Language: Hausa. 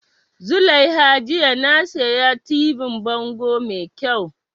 Zulaiha jiya na siya tibin bango mai kyau